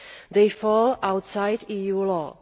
these fall outside EU law.